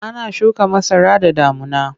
Ana shuka masara da damuna.